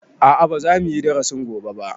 A'a ba za muyi darasin gobe ba